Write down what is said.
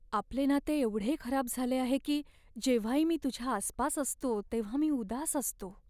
आपले नाते एवढे खराब झाले आहे की जेव्हाही मी तुझ्या आसपास असतो तेव्हा मी उदास असतो.